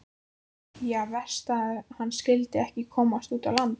Já, verst að hann skyldi ekki komast út á land.